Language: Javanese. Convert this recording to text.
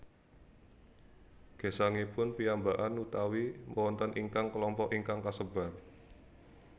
Gesangipun piyambakan utawi wonten ingkang kelompok ingkang kasebar